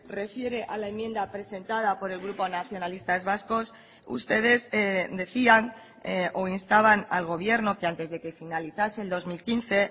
refiere a la enmienda presentada por el grupo nacionalistas vascos ustedes decían o instaban al gobierno que antes de que finalizase el dos mil quince